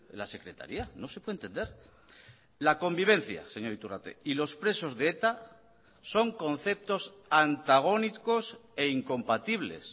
la secretaría no se puede entender la convivencia señor iturrate y los presos de eta son conceptos antagónicos e incompatibles